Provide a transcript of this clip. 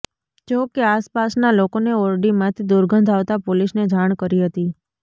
જો કે આસપાસના લોકોને ઓરડીમાંથી દુર્ગધ આવતા પોલીસને જાણ કરી હતી